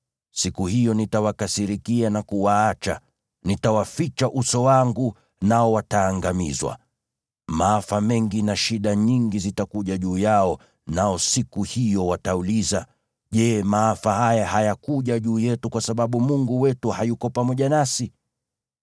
Siku hiyo nitawakasirikia na kuwaacha; nitawaficha uso wangu, nao wataangamizwa. Maafa mengi na shida nyingi zitakuja juu yao, nao siku hiyo watauliza, ‘Je, maafa haya hayakuja juu yetu kwa sababu Mungu wetu hayuko pamoja nasi?’